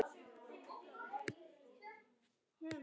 Sá ferlega eftir því.